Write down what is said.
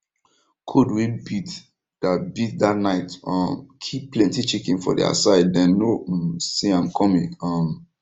cold wey beat that beat that night um kill plenty chicken for their side dem no um see am coming um